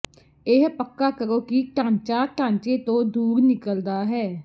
ਇਹ ਪੱਕਾ ਕਰੋ ਕਿ ਢਾਂਚਾ ਢਾਂਚੇ ਤੋਂ ਦੂਰ ਨਿਕਲਦਾ ਹੈ